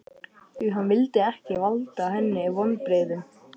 Því hann vildi ekki valda henni vonbrigðum.